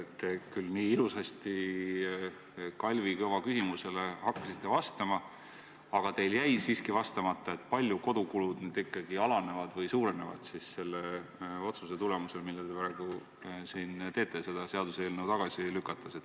Te küll hakkasite nii ilusasti Kalvi Kõva küsimusele vastama, aga teil jäi siiski ütlemata, kui palju nüüd ikkagi kodukulud vähenevad või suurenevad selle otsuse tulemusel, mille te praegu teete seda eelnõu tagasi lükates.